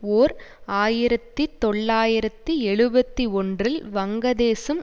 ஓர் ஆயிரத்தி தொள்ளாயிரத்தி எழுபத்தி ஒன்றில் வங்கதேசம்